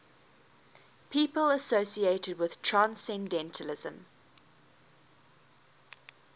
people associated with transcendentalism